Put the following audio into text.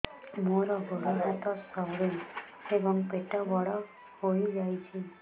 ମୋର ଗୋଡ ହାତ ସରୁ ଏବଂ ପେଟ ବଡ଼ ହୋଇଯାଇଛି